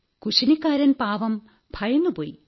കുശിനിക്കാരൻ പാവം ഭയന്നുപോയി